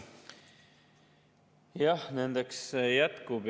Jah, nendeks jätkub.